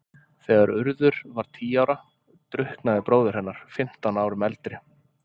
Þegar Urður var tíu ára drukknaði bróðir hennar, fimmtán árum eldri.